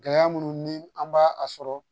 Gɛlɛya minnu ni an b'a a sɔrɔ